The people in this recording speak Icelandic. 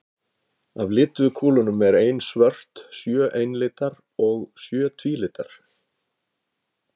Af lituðu kúlunum er ein svört, sjö einlitar og sjö tvílitar.